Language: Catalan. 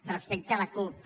respecte a la cup